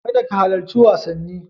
Kada ka halarci wasanni.